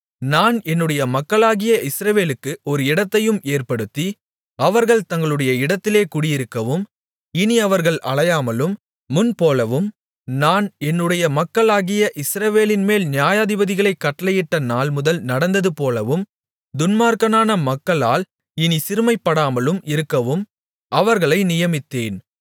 நான் என்னுடைய மக்களாகிய இஸ்ரவேலுக்கு ஒரு இடத்தையும் ஏற்படுத்தி அவர்கள் தங்களுடைய இடத்திலே குடியிருக்கவும் இனி அவர்கள் அலையாமலும் முன்போலவும் நான் என்னுடைய மக்களாகிய இஸ்ரவேலின்மேல் நியாயாதிபதிகளைக் கட்டளையிட்ட நாள்முதல் நடந்ததுபோலவும் துன்மார்க்கமான மக்களால் இனி சிறுமைப்படாமலும் இருக்கவும் அவர்களை நியமித்தேன்